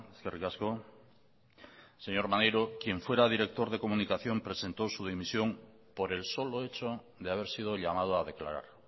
eskerrik asko señor maneiro quien fuera director de comunicación presentó su dimisión por el solo hecho de haber sido llamado a declarar